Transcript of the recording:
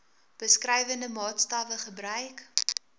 beskrywende maatstawwe gebruik